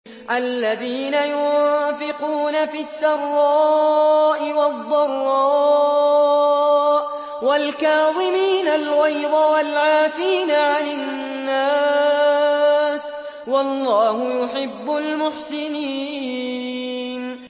الَّذِينَ يُنفِقُونَ فِي السَّرَّاءِ وَالضَّرَّاءِ وَالْكَاظِمِينَ الْغَيْظَ وَالْعَافِينَ عَنِ النَّاسِ ۗ وَاللَّهُ يُحِبُّ الْمُحْسِنِينَ